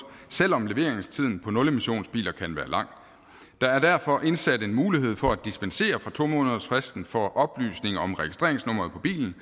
selv om leveringstiden på nulmissionsbiler kan være lang der er derfor indsat en mulighed for at dispensere fra to månedersfristen for oplysning om registreringsnummeret på bilen